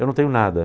Eu não tenho nada.